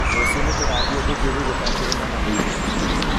Rũciũ nĩtũgathiĩ gũthiũrũrũka kĩrĩma na mũithikiri?